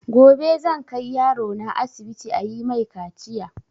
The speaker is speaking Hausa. Gobe zan kai yaro na asibiti ayi mai kaciya